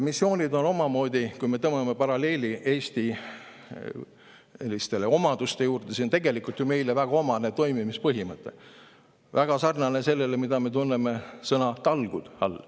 Missioonid on omamoodi, kui me tõmbame paralleeli Eesti omadustega, siis näeme, et see on tegelikult ju meile väga omane toimimispõhimõte, väga sarnane sellega, mida me tunneme sõna "talgud" all.